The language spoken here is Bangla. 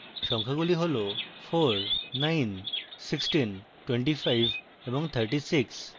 সংখ্যাগুলি হল 491625 এবং 36